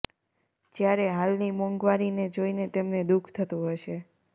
જયારે હાલની મોંઘવારી ને જોઈને તેમને દુઃખ થતું હશે